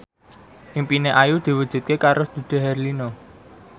impine Ayu diwujudke karo Dude Herlino